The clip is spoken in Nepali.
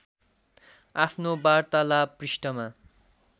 आफ्नो वार्तालाभ पृष्ठमा